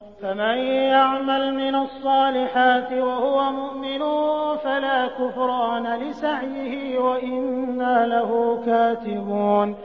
فَمَن يَعْمَلْ مِنَ الصَّالِحَاتِ وَهُوَ مُؤْمِنٌ فَلَا كُفْرَانَ لِسَعْيِهِ وَإِنَّا لَهُ كَاتِبُونَ